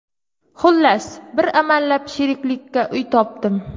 Xullas, bir amallab sheriklikka uy topdim.